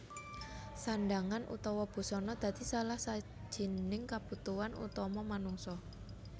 Sandhangan utawa busana dadi salah sijining kabutuhan utama manungsa